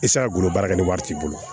golo baara kɛ ni wari t'i bolo